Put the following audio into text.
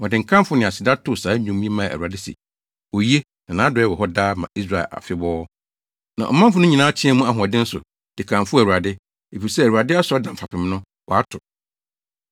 Wɔde nkamfo ne aseda too saa dwom yi maa Awurade se: “Oye, Na nʼadɔe wɔ hɔ daa ma Israel afebɔɔ!” Na ɔmanfo no nyinaa teɛɛ mu ahoɔden so, de kamfoo Awurade, efisɛ Awurade asɔredan fapem no, wɔato.